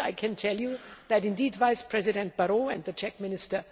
I can tell you that Vice President Barrot and the Czech Minister